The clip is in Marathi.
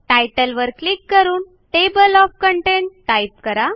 तितले वर क्लिक करून टेबल ओएफ कंटेंट टाईप करा